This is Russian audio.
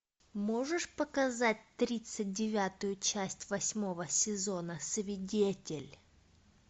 можешь показать тридцать девятую часть восьмого сезона свидетель